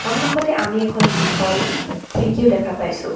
সন্মুখতে আমি এখন দীঘল খিৰকীও দেখা পাইছোঁ।